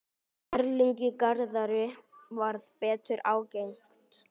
Erlingi Garðari varð betur ágengt.